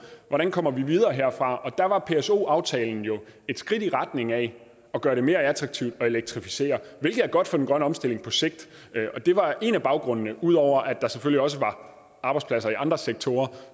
hvordan kommer vi videre herfra og der var pso aftalen jo et skridt i retning af at gøre det mere attraktivt at elektrificere hvilket er godt for den grønne omstilling på sigt det var en af baggrundene ud over at der selvfølgelig også var arbejdspladser i andre sektorer